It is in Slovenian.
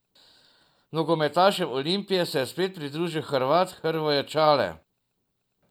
Nogometašem Olimpije se je spet pridružil Hrvat Hrvoje Čale.